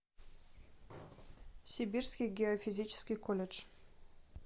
сибирский геофизический колледж